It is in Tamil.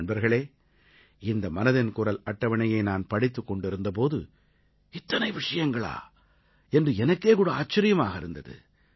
நண்பர்களே இந்த மனதின் குரல் அட்டவணையை நான் படித்துக் கொண்டிருந்த போது இத்தனை விஷயங்களா என்று எனக்கே கூட ஆச்சரியமாக இருந்தது